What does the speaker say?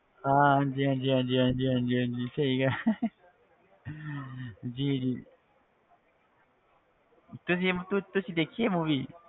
ਹਾਂ ਹਾਂਜੀ ਹਾਂਜੀ ਹਾਂਜੀ ਹਾਂਜੀ ਹਾਂਜੀ ਹਾਂਜੀ ਸਹੀ ਕਿਹਾ ਜੀ ਜੀ ਤੇ ਜੀ ਤੁ~ ਤੁਸੀਂ ਦੇਖੀ ਆ movie